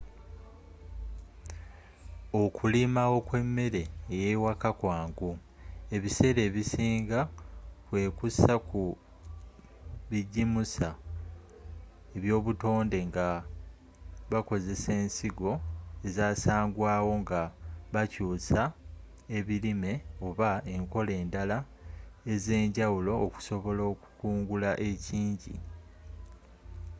okulima okw'emmere ey'ewaka kwangu ebiseera ebisinga kwekuusa ku bijimusa eby'obutonde nga bakozesa ensigo ezasangwawo nga bakyuusa ebirime oba enkola endala ez'enjawulo okusobola okukungula ekingi